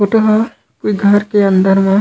photo ह ये घर के अंदर म--